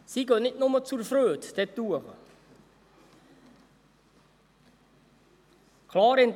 Sie gehen nicht nur zur Freude dort hinauf.